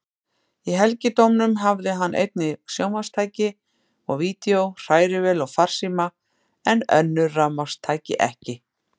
Í helgidómnum hafði hann einnig sjónvarpstæki og vídeó, hrærivél og farsíma, en önnur rafmagnstæki ekki.